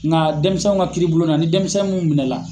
Nka denmisɛnw ka kiiri bulon na ni denmisɛnnu munnu minɛ la